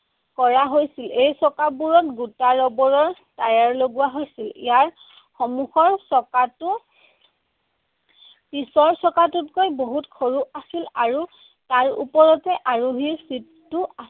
কৰা হৈছিল। এই চকাবোৰত গোটা ৰবৰৰ tyre লগোৱা হৈছিল। ইয়াৰ সমুখৰ চকাটো পিছৰ চকাটোতকৈ বহুত সৰু আছিল আৰু তাৰ ওপৰতে আৰোহীৰ seat টো